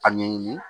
A ɲɛɲini